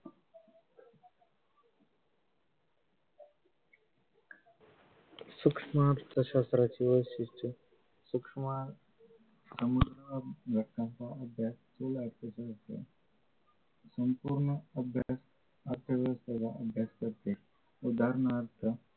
संपूर्ण अभ्यास उदाहरणार्थ